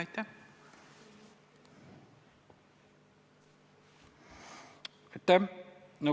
Aitäh!